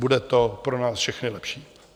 Bude to pro nás všechny lepší.